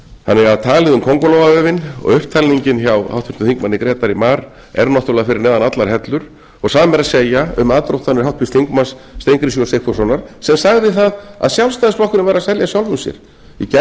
þannig að talið um kóngulóarvefinn og upptalningin hjá háttvirtum þingmanni grétari mar er náttúrlega fyrir neðan allar hellur og sama er að segja um aðdróttanir háttvirtur þingmaður steingríms j sigfússonar sem sagði það að sjálfstæðisflokkurinn væri að selja sjálfum sér í gær var verið